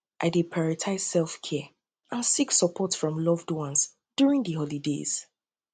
i dey prioritize selfcare and seek support from loved ones during di holidays